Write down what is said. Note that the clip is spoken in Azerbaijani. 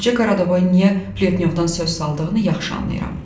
Qoca Qaradavoy niyə Pletnyovdan söz saldığını yaxşı anlayıram.